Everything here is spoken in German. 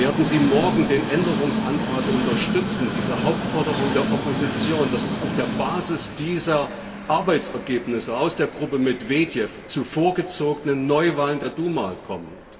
Werden Sie morgen den Änderungsantrag unterstützen, diese Hauptforderung der Opposition, dass es auf der Basis dieser Arbeitsergebnisse aus der Gruppe Medwedjew zu vorgezogenen Neuwahlen der Duma kommt?